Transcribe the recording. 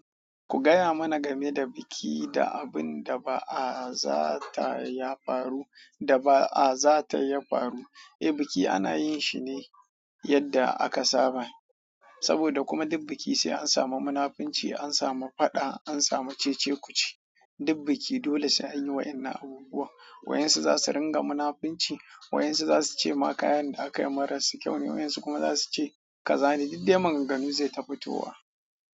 Ku gaya mana game da biki da abin da ba a zata ya faru, da ba a zata ya faru. Eh biki ana yin shi ne yadda aka saba, saboda kuma dik biki sai an samu munafunci, an samu faɗa, an samu cece-kuce. Dik biki dole sai anyi wa'innan abubuwan. Wayansu za su ringa munafunci, wayansu za su ce ma kayan da akai maras kyau ne, wa'insu kuma za su ce ka zane. Diddai maganganu ze ta fitowa.